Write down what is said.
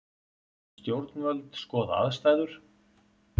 Stjórnvöld skoða aðstæður